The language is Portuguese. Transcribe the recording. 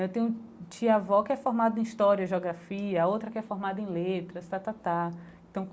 Eu tenho um um tio-avô que é formado em história e geografia, a outra que é formada em letras.